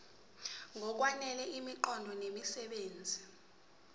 ngokwanele imiqondo nemisebenzi